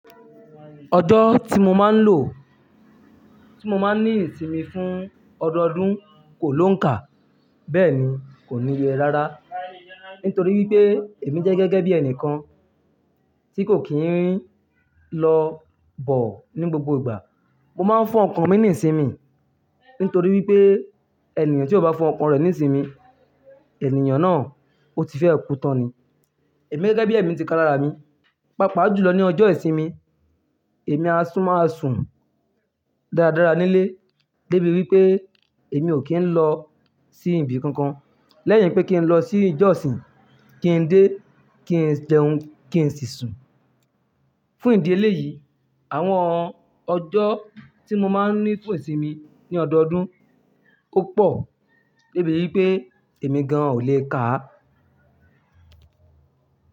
Ọjọ́ tí mo máa ń lò, tí mo máa ń ní ìsinmi fún ọdọọdún kò lóǹkà, bẹ́ẹ̀ ni kò níye rárá. Nítorí wípé èmi jẹ́ gẹ́gẹ́ bí ẹnìkan tí kò kí ń lọ bọ̀ ní gbogbo ìgbà. Mo máa ń fún ọkàn mi ní ìsinmi, nítorí wípé ènìyàn tí ó bá fún ọkàn rẹ̀ ní ìsinmi, ènìyàn náà ó ti fẹ́ kú tán ni. Èmi gẹ́gẹ́ bí èmi ti ka lára mi, pàápàá jùlọ ní ọjọ́ ìsinmi, èmi á tún máa sùn dáradára nílé, débi wípé èmi ò kí ń lọ sí ibi kankan. Lẹ́yìn pé kí n lọ sí ìjọsìn, kí n dé, kí n jẹ́un, kí n sì sùn. Fún ìdí eléyìí, àwọn ọjọ́ tí mo máa ń ní fún ìsinmi ní ọdọọdún ó pọ̀, débi wípé èmi gan ò lè kàá.